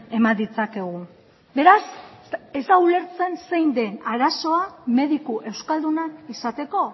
eman ditzakegu beraz ez da ulertzen zein den arazoa mediku euskaldunak izateko